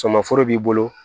Sɔmaforo b'i bolo